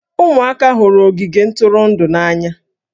Ụmụaka hụrụ ogige ntụrụndụ n'anya